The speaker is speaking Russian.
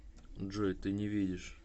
джой ты не видишь